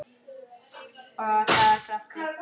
Og það af krafti.